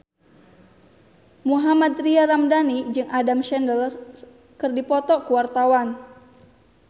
Mohammad Tria Ramadhani jeung Adam Sandler keur dipoto ku wartawan